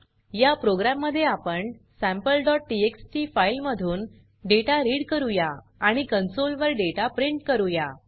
या प्रोग्राम मध्ये आपण sampleटीएक्सटी फाइल मधून डेटा रीड करूया आणि कॉन्सोल वर डेटा प्रिंट करूया